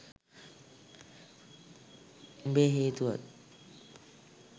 උඹේ හේතුවත්